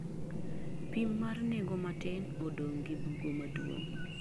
pim mar nengo matin odong gi bugo maduong